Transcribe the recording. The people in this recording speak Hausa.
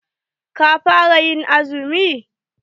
Ka fara ƴin azumi?